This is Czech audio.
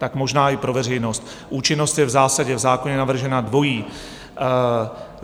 Tak možná i pro veřejnost: účinnost je v zásadě v zákoně navržena dvojí.